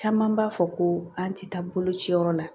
Caman b'a fɔ ko an tɛ taa bolociyɔrɔ la